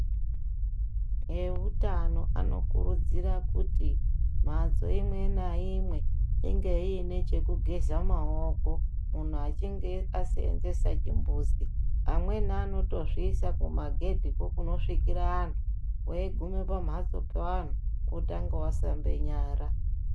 Vehutano vanokurudzirwa kuti mhatso imwe naimwe inenge ine chekugeza maoko munhu achinge asevenzesa chimbuzi amweni anotozviisa kumagedhi ko kunosvikira antu weiguma pambatso pevanhu wotanga washambe nyara.